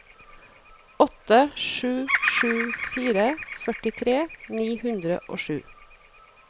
åtte sju sju fire førtitre ni hundre og sju